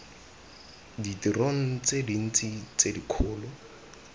ditirong tse dintsi tse dikgolo